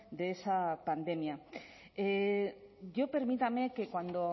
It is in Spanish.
de esa pandemia yo permítame que cuando